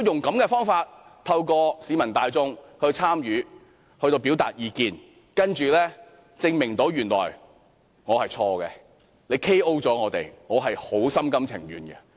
如果政府透過市民大眾參與並表達意見的方法來證明我是錯誤的，政府 "KO" 我們，我心甘情願。